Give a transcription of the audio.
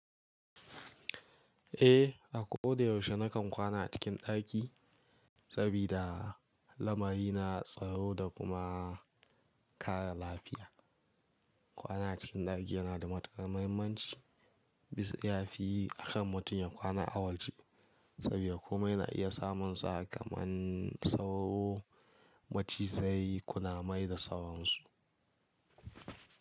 Eh, a ko da yaushe na kan kwana a cikin ɗaki sabida lamari na tsaro da kuma kare lafiya. Kwana cikin ɗaki yana da matukar muhimmanci bisa ya fi akan mutum ya kwana a waje saboda komai na iya samunsa kamar sauro, macizai, kunamai da sauransu.